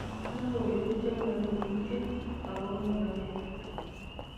Logoywek chemaloityin agoba kibaki